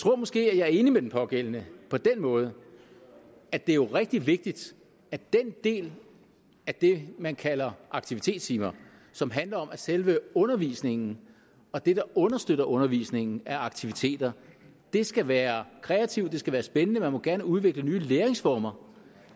tror måske jeg er enig med den pågældende på den måde at det jo er rigtig vigtigt at den del af det man kalder aktivitetstimer som handler om at selve undervisningen og det der understøtter undervisningen er aktiviteter skal være kreativt det skal være spændende og man må gerne udvikle nye læringsformer